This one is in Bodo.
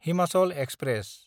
हिमाचल एक्सप्रेस